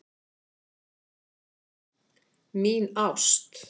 Mín ást